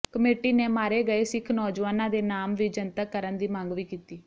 committee ਨੇ ਮਾਰੇ ਗਏ ਸਿੱਖ ਨੌਜੁਆਨਾਂ ਦੇ ਨਾਮ ਵੀ ਜਨਤਕ ਕਰਨ ਦੀ ਮੰਗ ਵੀ ਕੀਤੀ